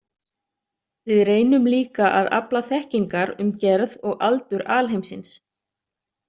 Við reynum líka að afla þekkingar um gerð og aldur alheimsins.